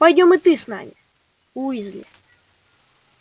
пойдём и ты с нами уизли